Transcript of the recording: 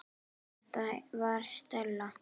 Þetta var Stella.